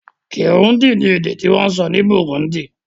Kirundi ni èdè ti wón sọ ni Burundi